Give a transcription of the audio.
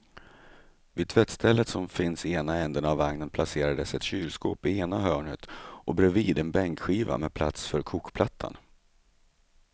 Vid tvättstället som finns i ena ändan av vagnen placerades ett kylskåp i ena hörnet och bredvid en bänkskiva med plats för kokplattan.